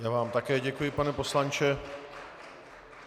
Já vám také děkuji, pane poslanče.